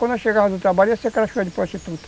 Quando nós chegávamos no trabalho, ia ser de prostituta.